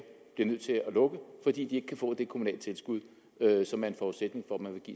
bliver nødt til at lukke fordi de ikke kan få det kommunale tilskud som er en forudsætning